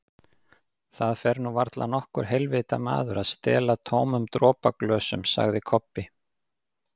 Það fer nú varla nokkur heilvita maður að stela tómum dropaglösum, sagði Kobbi.